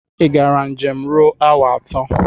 Ị gara njem ruo awa atọ?